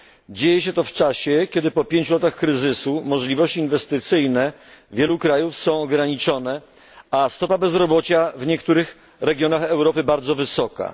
Dzieje się to w czasie, kiedy po pięciu latach kryzysu możliwości inwestycyjne wielu krajów są ograniczone, a stopa bezrobocia w niektórych regionach Europy bardzo wysoka.